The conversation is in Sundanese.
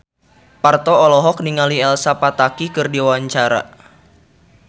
Parto olohok ningali Elsa Pataky keur diwawancara